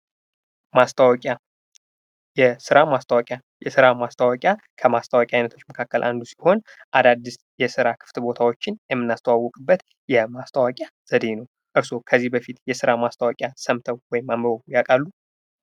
ማስታወቂያ: የስራ ማስታወቂያ ከማስታወቂያ አይነቶች ውስጥ አንድ ሲሆን የስራ ክፍት ቦታዎችን የምናስታወቅበት የማስታወቂያ ዘዴ ነው። እርሶ ከዚህ በፊት የስራ ማስታወቂያ ሰምተው ወይም አንብበው ያውቃሉ?